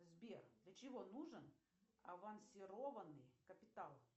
сбер для чего нужен авансированный капитал